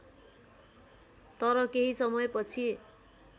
तर केही समयपछि